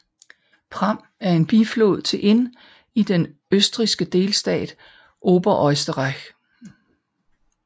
Pram er en biflod til Inn i den østrigske delstat Oberösterreich